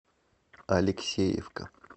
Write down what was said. алексеевка